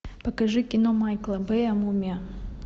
покажи кино майкла бэя мумия